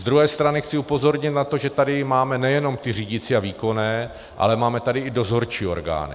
Z druhé strany chci upozornit na to, že tady máme nejenom ty řídicí a výkonné, ale máme tady i dozorčí orgány.